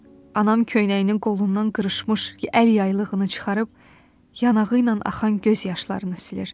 Anam köynəyinin qolundan qırışmış, əyri yaylığını çıxarıb yanağı ilə axan göz yaşlarını silir.